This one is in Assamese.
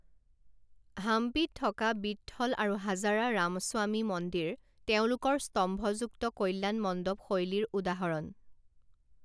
হাম্পিত থকা বিট্ঠল আৰু হাজাৰা ৰামস্বামী মন্দিৰ তেওঁলোকৰ স্তম্ভযুক্ত কল্যাণমণ্ডপ শৈলীৰ উদাহৰণ।